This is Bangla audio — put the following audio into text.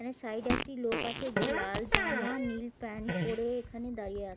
এখানে সাইডে একটি লোক আছে. যে লাল জামা নীল প্যান্ট পরে এখানে দাঁড়িয়ে আ--